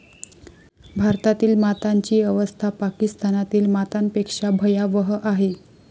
भारतातील मातांची अवस्था पाकिस्तानातील मातांपेक्षा भयावह आहे.